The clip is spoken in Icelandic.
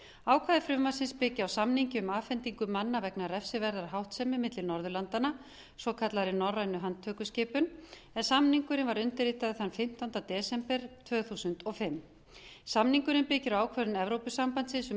ákvæði frumvarpsins byggja á samningi um afhendingu manna vegna refsiverðrar háttsemi milli norðurlandanna svokallaðri norrænni handtökuskipun en samningurinn var undirritaður þann fimmtánda desember tvö þúsund og fimm samningurinn byggir á ákvörðun evrópusambandsins um